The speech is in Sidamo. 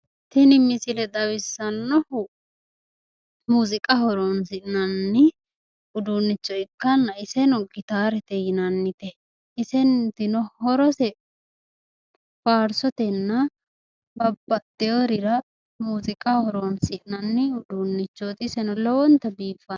Tini misile xawissannohu muuziiqaho horoonsi'nanni uduunnicho ikkanna iseno gitaarete yinannite isetino horose faarsotenna babaxxeworira muuziqaho horonsi'nanni uduunnichooti iseno lowonta biiffanno.